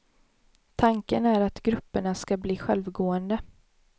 Tanken är att grupperna skall bli självgående.